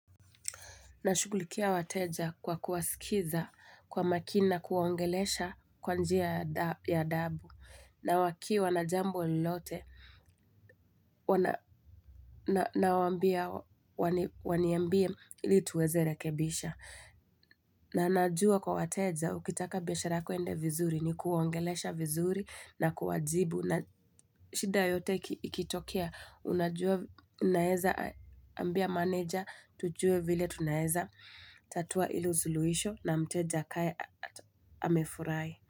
Nashugulikia wateja kwa kuwasikiza kwa makini na kuwaongelesha kwa njia ya da ya adabu. Na wakiwa na jambo lolote nawaambia waniambie ili tuweze rekebisha. Na najua kwa wateja, ukitaka biashara yako iende vizuri ni kuwaongelesha vizuri na kuwajibu na shida yote ikitokea, unajua unaeza ambia maneja, tujue vile tunaeza, tatua hilo suluhisho na mteja akae amefurahi.